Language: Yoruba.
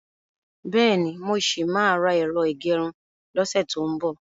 Bẹ́ẹ̀ni, mo ṣì máa ra ẹ̀rọ ìgẹrun lọ́sẹ̀ tó ń bò.